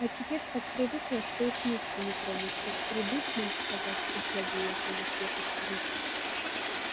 а теперь так привыкла что и с места не тронусь как придут нам сказать что злодеи около крепости рыщут